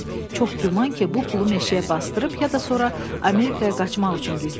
Çox güman ki, bu pulu meşəyə basdırıb ya da sonra Amerikaya qaçmaq üçün gizlədib.